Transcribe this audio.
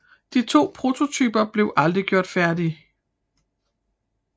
De to prototyper blev aldrig gjort færdige